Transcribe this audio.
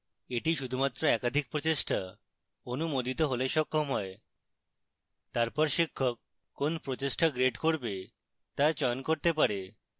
the শুধুমাত্র একাধিক প্রচেষ্টা অনুমোদিত হলে সক্ষম হয় তারপর শিক্ষক কোন প্রচেষ্টা grade করবে তা চয়ন করতে পারে